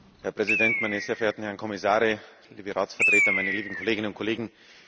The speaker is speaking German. Herr Präsident, meine sehr verehrten Herren Kommissare, liebe Ratsvertreter, meine lieben Kolleginnen und Kollegen!